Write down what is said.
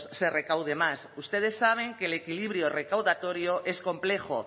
se recaude más ustedes saben que el equilibrio recaudatorio es complejo